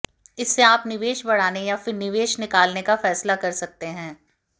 इससे आप निवेश बढ़ाने या फिर निवेश निकालने का फैसला कर सकते हैं